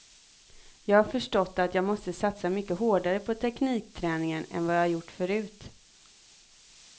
Jag har förstått att jag måste satsa mycket hårdare på teknikträningen än vad jag gjort förut.